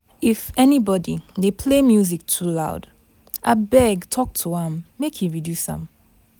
If anybody dey play music too loud, abeg talk to am make e reduce am.